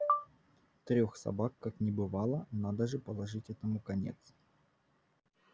трёх собак как не бывало надо же положить этому конец